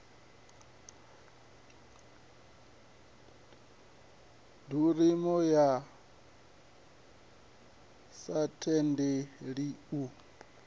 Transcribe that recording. ḓuriho a sa tendeli u